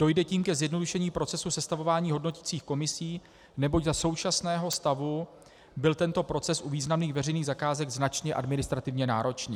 Dojde tím ke zjednodušení procesu sestavování hodnoticích komisí, neboť za současného stavu byl tento proces u významných veřejných zakázek značně administrativně náročný.